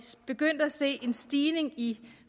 begyndte at se en stigning i en